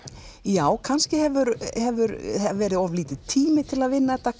já kannski hefur hefur verið of lítill tími til að vinna þetta